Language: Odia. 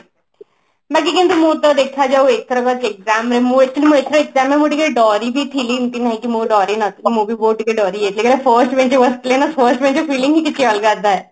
ବାକି କେମତି ମୋର ତ ଦେଖା ଯାଉ ଏଥର exam ରେ ମୁଁ actually ଏଥର exam ରେ ମୁଁ ଟିକେ ଡରି ବି ଥିଲି ଏମତି ନୁହେଁ କି ମୁଁ ଡରି ନ ଥିଲି ମୁଁ ବି ବହୁତ ଟିକେ ଡରି ଯାଇଥିଲି କାହିଁକି ନା first bench ରେ ବସିଥିଲି ନା first bench ର feelings ହିଁ କିଛି ଅଲଗା ଥାଏ